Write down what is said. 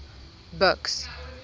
buks